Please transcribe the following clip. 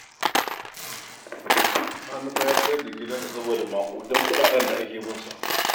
Sani fa ya sayar da gidansa saboda maƙudan kuɗaɗen da ake bin sa bashi